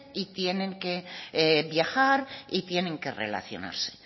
y tienen que viajar y tienen que relacionarse